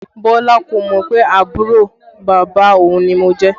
Bọlá kò mọ pé àbúrò bàbá òun ni mo jẹ́